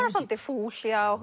er svolítið fúl